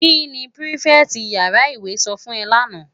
Ki ni pirifèti iyàrá iwé sò fún è làná?